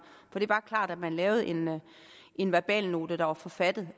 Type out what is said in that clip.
for det er bare klart at man lavede en en verbalnote der er forfattet